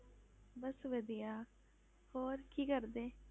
ਬਸ ਵਧੀਆ, ਹੋਰ ਕੀ ਕਰਦੇ?